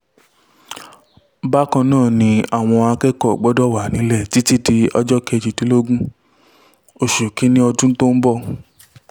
bákan náà ni àwọn akẹ́kọ̀ọ́ gbọ́dọ̀ wà nílẹ̀ títí di ọjọ́ kejìdínlógún oṣù kìn-ín-ní ọdún tó ń bọ̀